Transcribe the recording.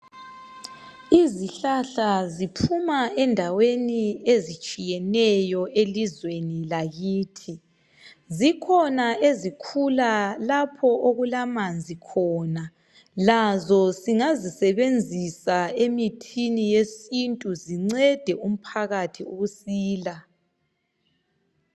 Izihlahla ziphuma ezindaweni ezitshiyeneyo elizweni lakithi. Zikhona ezikhula lapho okulamanzi khona. Lazo singasebenzisa emithini yesintu zincede umphakathi ukusila.